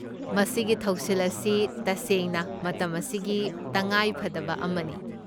ꯃꯁꯤꯒꯤ ꯊꯧꯁꯤꯜ ꯑꯁꯤ ꯇꯁꯦꯡꯅ ꯃꯇꯝ ꯑꯁꯤꯒꯤ ꯇꯉꯥꯏꯐꯗꯕ ꯑꯃꯅꯤ꯫